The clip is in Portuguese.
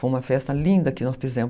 Foi uma festa linda que nós fizemos.